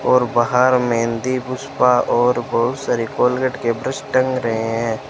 और बाहर मेहंदी पुष्पा और बहुत सारे कोलगेट के ब्रश टंग रहे हैं।